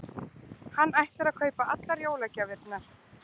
Hann ætlar að kaupa allar jólagjafirnar.